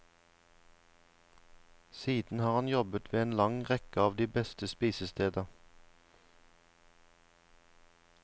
Siden har han jobbet ved en lang rekke av de beste spisesteder.